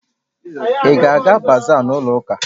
Ị ga-aga bazaa n'ụlọ ụka?